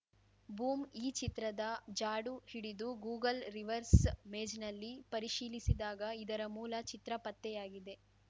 boom ಈ ಚಿತ್ರದ ಜಾಡು ಹಿಡಿದು ಗೂಗಲ್‌ ರಿವರ್ಸ್‌ ಮೇಜ್‌ನಲ್ಲಿ ಪರಿಶೀಲಸಿದಾಗ ಇದರ ಮೂಲ ಚಿತ್ರ ಪತ್ತೆಯಾಗಿದೆ